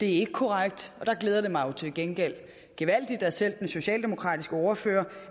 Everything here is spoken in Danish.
ikke korrekt der glæder det mig jo til gengæld gevaldigt at selv den socialdemokratiske ordfører